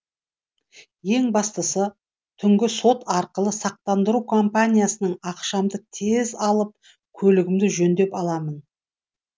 ең бастысы түнгі сот арқылы сақтандыру ақшамды тез алып көлігімді жөндеп аламын